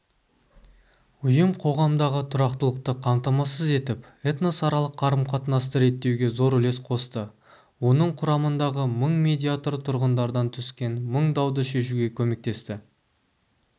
ұйым қоғамдағы тұрақтылықты қамтамасыз етіп этносаралық қарым-қатынасты реттеуге зор үлес қосты оның құрамындағы мың медиатор тұрғындардан түскен мың дауды шешуге көмектесті